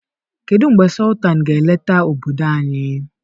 Kedu mgbe Sọltanụ ga-eleta obodo anyị?